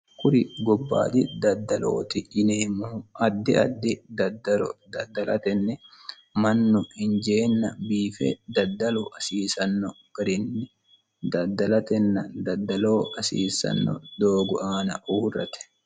kuri gobbaati daddalooti yineemmohu addi addi daddaro daddalatenni mannu hinjeenna biife daddalo hasiisanno garinni daddalatenna daddaloo hasiisanno doogu aana uurrate